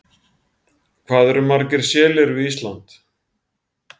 Hvað eru margir selir við Ísland?